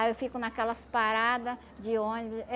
Aí eu fico naquelas parada de ônibus.